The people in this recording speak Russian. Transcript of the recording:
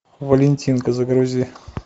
валентинка загрузи